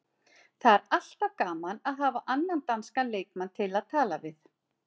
Það er alltaf gaman að hafa annan danskan leikmann til að tala við.